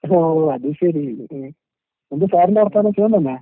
ഓഹ് അത് ശെരി. ഏഹ്. എന്ത് സാറിന്റെ വർത്താനം? സുഖം തന്നേ?